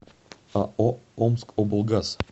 ао омскоблгаз